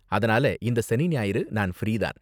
அதனால இந்த சனி ஞாயிறு நான் ஃப்ரீ தான்.